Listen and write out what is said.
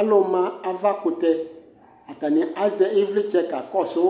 Alʋma avakʋtɛ Atanɩ azɛ ɩvlɩtsɛ kakɔsʋ